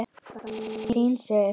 Þín Sif.